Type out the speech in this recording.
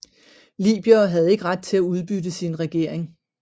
Libyere havde ikke ret til at udbytte sin regering